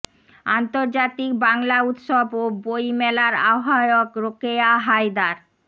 আন্তর্জাতিক বাংলা উৎসব ও বই মেলার আহ্বায়ক রোকেয়া হায়দার